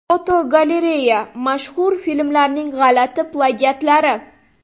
Fotogalereya: Mashhur filmlarning g‘alati plagiatlari.